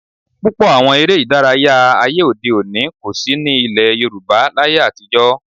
Púpọ̀ àwọn eré ìdárayá ayé òde òní kò sí ní ilẹ̀ Yorùbá láyé atijọ́